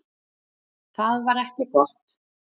Það var ekki gott.